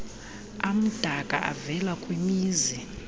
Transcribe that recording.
amdaka avela kwimizi